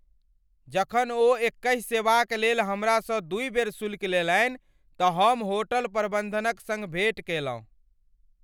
जखन ओ एकहि सेवाक लेल हमरासँ दुइ बेर शुल्क लेलनि तऽ हम होटल प्रबन्धनक सङ्ग भेंट केलहुँ।